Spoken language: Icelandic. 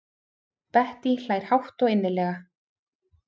Bettý hlær hátt og innilega.